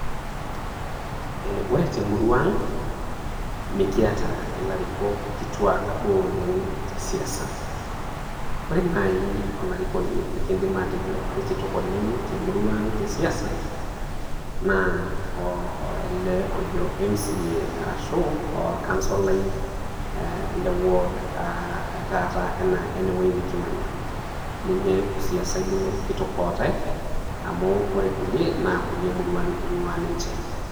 Ore te murua ang, mekiata ilarikok kitua duo oleng te siasa ore nai olarikoni lekidim atejo ai kitok oleng te siasa naa ele lojo MCA arashu olkansolai, le ward e tata ene wueji nekimanya, ninye osiasai duo kitok lotai. Amu ore ilkulie naa kulie muruan eing'ua ninche.